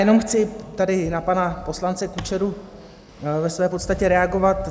Jenom chci tady na pana poslance Kučeru ve své podstatě reagovat.